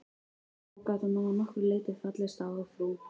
Þó gat hún að nokkru leyti fallist á að frú